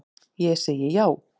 Ég segi já.